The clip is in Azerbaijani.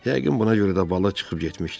Yəqin buna görə də balıq çıxıb getmişdi.